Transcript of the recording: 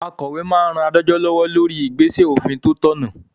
Akòwé máa n ran adájọ́ lọ́wọ́ lórí igbesẹ òfin tó tọ̀nà